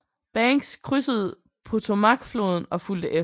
Banks krydsede Potomacfloden og fulgte efter